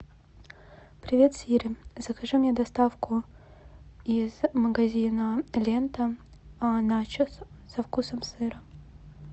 привет сири закажи мне доставку из магазина лента начос со вкусом сыра